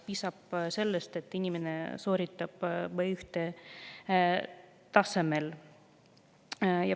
Piisab sellest, et inimene sooritab B1‑tasemel.